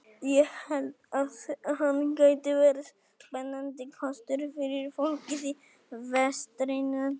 Ég held að hann gæti verið spennandi kostur fyrir fólkið í vestrinu.